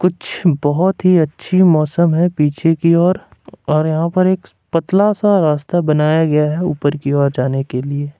बहुत ही अच्छी मौसम है पीछे की ओर और यहां पर एक पतला सा रास्ता बनाया गया है ऊपर की ओर जाने के लिए।